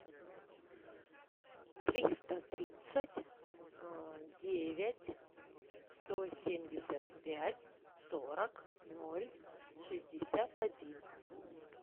триста тридцать девять сто семьдесят пять сорок ноль шестьдесят один